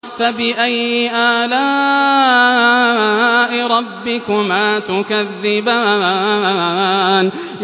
فَبِأَيِّ آلَاءِ رَبِّكُمَا تُكَذِّبَانِ